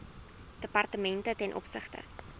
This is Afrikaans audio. departemente ten opsigte